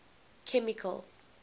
chemical